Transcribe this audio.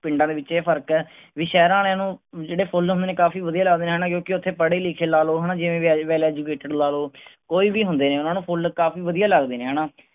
ਪਿੰਡਾਂ ਦੇ ਵਿਚ ਇਹ ਫਰਕ ਹੈ ਵੀ ਸ਼ਹਿਰਾਂ ਆਲਿਆਂ ਨੂੰ ਜਿਹੜੇ ਫੁੱਲ ਹੁੰਦੇ ਨੇ ਕਾਫੀ ਵਧਿਆ ਲਗਦੇ ਨੇ ਕਿਉਂਕਿ ਇਥੇ ਪੜ੍ਹੇ ਲਿਖੇ ਲਾ ਲਓ ਹੈਨਾ ਜਿਵੇਂ well educated ਲਾ ਲਓ ਕੋਈ ਵੀ ਹੁੰਦੇ ਨੇ ਓਹਨਾ ਨੂੰ ਫੁੱਲ ਕਾਫੀ ਵਧੀਆ ਲਗਦੇ ਨੇ ਹੈਨਾ